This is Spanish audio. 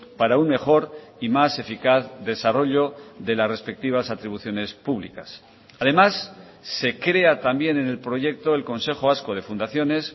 para un mejor y más eficaz desarrollo de las respectivas atribuciones públicas además se crea también en el proyecto el consejo vasco de fundaciones